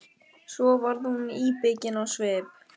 Svo varð hún íbyggin á svip.